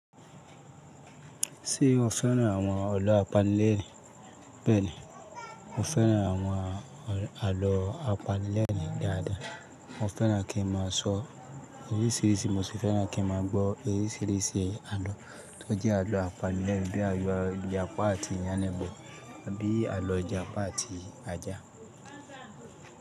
Ṣé o fẹ́ran àwọn àlọ́ apanilẹ́rin? Bẹ́ẹ̀ni, mo fẹ́ran àwọn àlọ́ apanilẹ́rin dáadáa. Mo fẹ́ràn kí n má a sọ orísìírísìí, mo sì fẹ́ràn kí n má a gbọ́ orísìírísìí àlọ́ tó jẹ́ àlọ́ apanilẹ́rin bíi alọ Ìjàpá àti Yánni bo, àbí àlọ́ Ìjàpá àti Ajá.